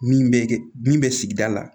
Min bɛ kɛ min bɛ sigida la